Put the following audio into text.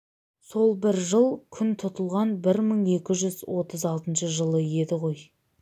сол бір жыл күн тұтылған бір мың екі жүз отыз алтыншы жылы еді ғой